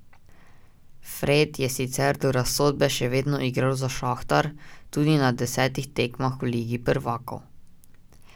Fred je sicer do razsodbe še vedno igral za Šahtar, tudi na desetih tekmah v ligi prvakov.